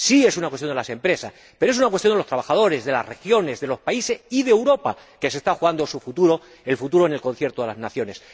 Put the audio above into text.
Sí es una cuestión de las empresas, pero también es una cuestión de los trabajadores, de las regiones, de los países y de Europa, que se está jugando su futuro, el futuro en el concierto de las naciones.